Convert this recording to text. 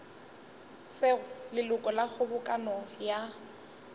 sego leloko la kgobokano ya